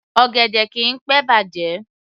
Ọ̀gẹ̀dẹ̀ kìí pé bàjẹ́